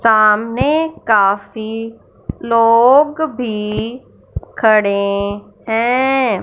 सामने काफी लोग भी खड़ें हैं।